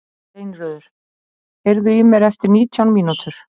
Steinröður, heyrðu í mér eftir nítján mínútur.